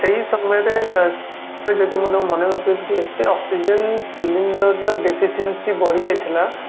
ସେଇ ସମୟରେ ମୁଁ ଯଦି ତାଙ୍କୁ ମନେ ପକେଇବି ଏତେ oxygen cylinder ର Deficiency ବଢିଯାଇଥିଲା